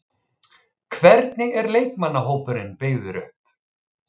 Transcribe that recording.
Hvernig er leikmannahópurinn byggður upp?